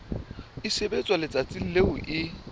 e sebetswa letsatsing leo e